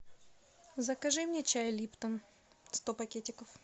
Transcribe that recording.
закажи мне чай липтон сто пакетиков